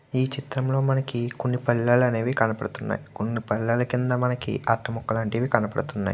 ఈ చిత్రం లో మనకి కొన్ని పల్లెలు అనేవి కనబడుతున్నాయి. కొన్ని పల్లెల కింద మనకి అట్ట ముక్కలు అనేవి కనబడుతున్నాయి.